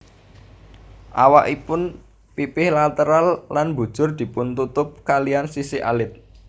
Awakipun pipih lateral lan mbujur dipuntutup kaliyan sisik alit